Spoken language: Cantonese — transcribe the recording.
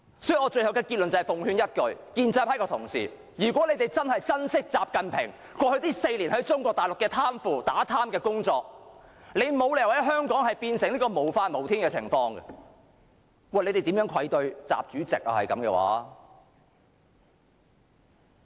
所以，我最後的結論是奉勸一句，如果建制派同事真的珍惜習近平過去4年在中國大陸的打貪工作，你們沒有理由令香港變成無法無天，否則，你們便愧對習主席。